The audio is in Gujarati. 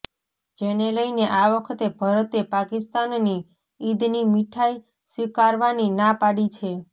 જેને લઇને આ વખતે ભરતે પાકિસ્તાનની ઈદની મિઠાઈ સ્વીકારવાની ના પાડી છે